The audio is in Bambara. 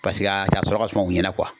Paseke a cɛ a sɔrɔ ka suma u ɲɛnɛ kuwa